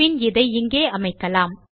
பின் இதை இங்கே அமைக்கலாம்